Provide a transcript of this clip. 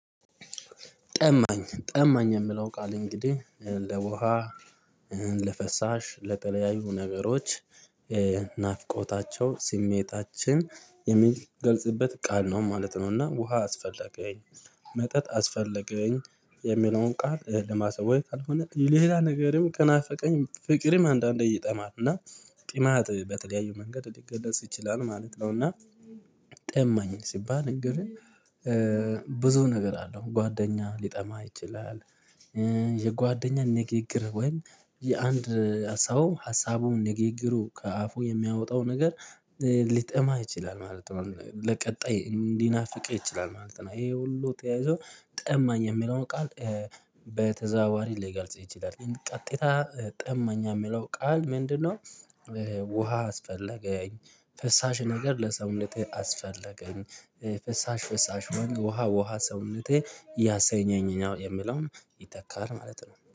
ጠማኝ ጠማኝ የምለው ቃል እንግዲህ ለውሃ ለፈሳሽ ለጠለያዩ ነገሮች ናፍቆታቸው ስሜታችን የሚገልጽበት ቃል ነው ማለት ነውና ውሃ አስፈለገኝ መጠጥ አስፈለገኝ የሚለውን ቃል ለማሳወቅ ካልሆነ ሌላ ነገርም ከናፈቀኝ ፍቅርም አንዳንዴ ይጠማል እና ጢማት በተለያዩ መንገድ ሊገለጽ ይችላል ማለት ነው። እና ጠማኝ ሲባል እንግዲህ ብዙ ነገር አለው ጓደኛ ሊጠማ ይችላል። የጓደኛ ንግግር ወይም የአንድ ሰው ሀሳቡን ንግግሩን ከአፉ የሚያወጣው ነገር ሊጠማ ይችላል ማለት ነው። ለቀጣይ እንዲናፍቀው ይችላል ማለት ነው። ይሄ ሁሉ ተያይዞ ጠማኝ የሚለውን ቃል በተዛዋሪ ሊገልጽ ይችላል ቀጥታ ጠማኝ የሚለው ቃል ምንድነው? ውሃ አስፈለገኝ ፈሳሽ ነገር ለሰውነቴ አስፈለገኝ ፈሳሽ ፈሳሽ ወንድ ውሃ ውሃ ሰውነቴ ያሰኘኝ የምለውን ይተካል ማለት ነው